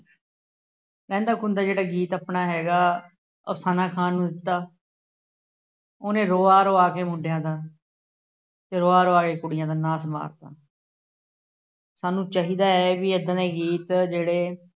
ਰਹਿੰਦਾ ਖੂੰਹਦਾ ਜਿਹੜਾ ਗੀਤ ਆਪਣਾ ਹੈਗਾ, ਅਫਸਾਨਾ ਖਾਨ ਨੂੰ ਦਿੱਤਾ। ਉਹਨੇ ਰੁਆ ਰੁਆ ਕੇ ਮੁੰਡਿਆਂ ਦਾ ਰੁਆ ਰੁਆ ਕੇ ਕੁੜੀਆਂ ਦਾ ਨਾਸ ਮਾਰਤਾ। ਸਾਨੂੰ ਚਾਹੀਦਾ ਹੈ ਕਿ ਏਦਾਂ ਦੇ ਗੀਤ ਜਿਹੜੇ